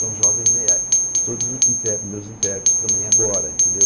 Tão jovens, e a todos inter os meus intérpretes também agora, entendeu?